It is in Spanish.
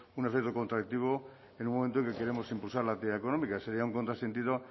un efecto contractivo en un momento en que queremos impulsar la actividad económica sería un contrasentido